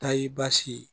Ta y'i baasi ye